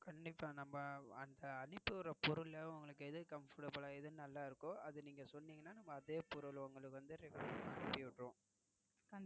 கண்டிப்பா இப்போ அனுப்பிவிடுற பொருளல்ல உங்களுக்கு எது Comfortable ஆஹ் எது நல்லா இருக்கோ அத நீங்க சொன்னீங்கன்னா நாம அதே பொருளை உங்களுக்கு Regular ஆஹ் அனுப்பி விடுறோம்.